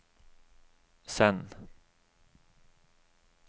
send